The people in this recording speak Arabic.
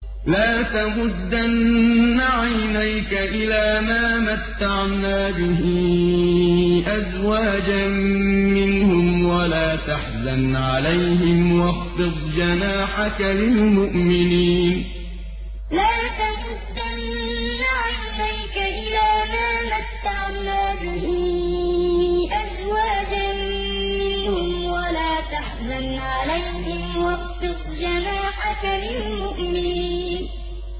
لَا تَمُدَّنَّ عَيْنَيْكَ إِلَىٰ مَا مَتَّعْنَا بِهِ أَزْوَاجًا مِّنْهُمْ وَلَا تَحْزَنْ عَلَيْهِمْ وَاخْفِضْ جَنَاحَكَ لِلْمُؤْمِنِينَ لَا تَمُدَّنَّ عَيْنَيْكَ إِلَىٰ مَا مَتَّعْنَا بِهِ أَزْوَاجًا مِّنْهُمْ وَلَا تَحْزَنْ عَلَيْهِمْ وَاخْفِضْ جَنَاحَكَ لِلْمُؤْمِنِينَ